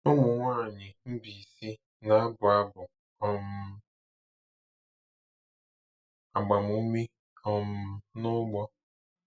Ụmụ nwanyị Mbaise na-abụ abụ um agbamume um n’ugbo.